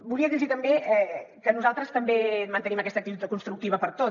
volia dir los també que nosaltres també mantenim aquesta actitud constructiva per tot